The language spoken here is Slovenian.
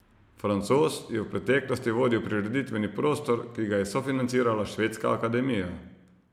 Francoz je v preteklosti vodil prireditveni prostor, ki ga je sofinancirala Švedska akademija.